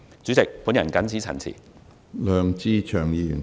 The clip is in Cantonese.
主席，我謹此陳辭。